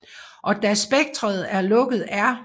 Og da spektret er lukket er